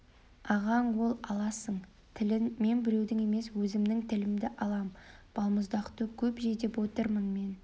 ағаң ол аласың тілін мен біреудің емес өзімнің тілімді алам балмұздақты көп же деп отырмын мен